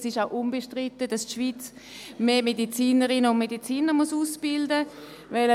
Es ist auch unbestritten, dass die Schweiz mehr Medizinerinnen und Mediziner ausbilden muss.